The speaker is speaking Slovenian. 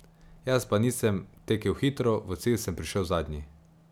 Jaz pa nisem tekel hitro, v cilj sem prišel zadnji.